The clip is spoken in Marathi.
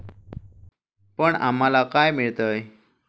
पण आम्हाला काय मिळतेय?